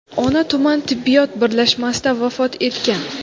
ona tuman tibbiyot birlashmasida vafot etgan.